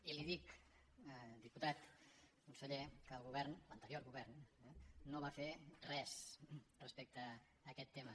i li dic conseller que el govern l’anterior govern no va fer res respecte a aquest tema